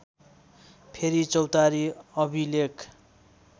फेरी चौतारी अभिलेख